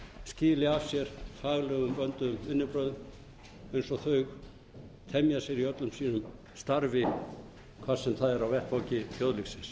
skili af sér faglegum vönduðum vinnubragða eins og þau temja sér í öllu sínu starfi hvar sem það er á vettvangi þjóðlífsins